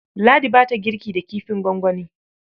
Ladi ba ta girki da kifin gwangwani.